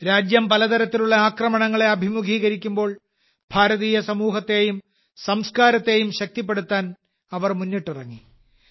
രാജ്യം പലതരത്തിലുള്ള ആക്രമണങ്ങളെ അഭിമുഖീകരിക്കുമ്പോൾ ഭാരതീയ സമൂഹത്തെയും സംസ്കാരത്തെയും ശക്തിപ്പെടുത്താൻ അവർ മുന്നിട്ടിറങ്ങി